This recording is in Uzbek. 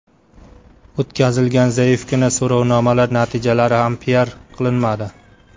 O‘tkazilgan zaifgina so‘rovnomalar natijalari ham piar qilinmadi.